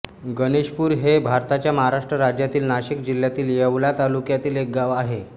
गणेशपूर हे भारताच्या महाराष्ट्र राज्यातील नाशिक जिल्ह्यातील येवला तालुक्यातील एक गाव आहे